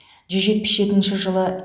жүз жетпіс жетінші жылы